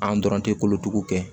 An dɔrɔn tɛ kolotugu kɛ